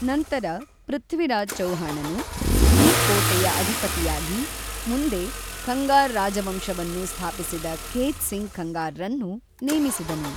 ನಂತರ ಪೃಥ್ವಿರಾಜ್ ಚೌಹಾಣನು ಈ ಕೋಟೆಯ ಅಧಿಪತಿಯಾಗಿ ಮುಂದೆ ಖಂಗಾರ್ ರಾಜವಂಶವನ್ನು ಸ್ಥಾಪಿಸಿದ ಖೇತ್ ಸಿಂಗ್ ಖಂಗಾರ್‌ರನ್ನು ನೇಮಿಸಿದನು.